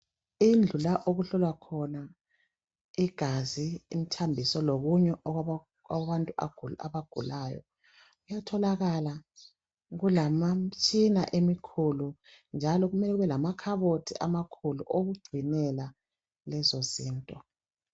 Indlu la okuhlolwa khona igazi imithambiso lokunye okwabantu abagulayo kuyatholakala kulemitshina emikhulu njalokumele kube lamakhabothi amakhulu okugcinela lezo zinto.